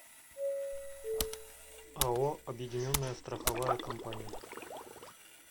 ао объединенная страховая компания